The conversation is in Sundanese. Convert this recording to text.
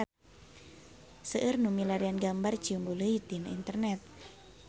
Seueur nu milarian gambar Ciumbuleuit di internet